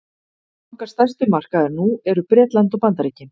okkar stærstu markaðir nú eru bretland og bandaríkin